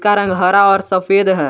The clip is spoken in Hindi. रंग हरा और सफेद है।